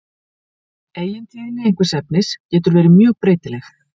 eigintíðni einhvers efnis getur verið mjög breytileg